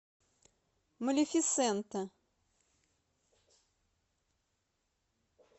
малефисента